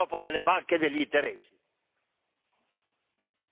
L'Europa dei popoli, non l'Europa delle banche e degli interessi!